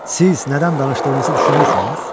Siz nədən danışdığınızı düşünürsünüz?